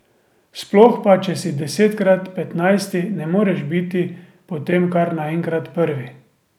Sploh pa, če si desetkrat petnajsti, ne moreš biti potem kar naenkrat prvi.